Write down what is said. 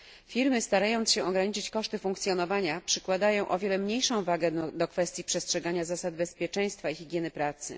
Firmy, starając się ograniczyć koszty funkcjonowania, przykładają o wiele mniejszą wagę do kwestii przestrzegania zasad bezpieczeństwa i higieny pracy.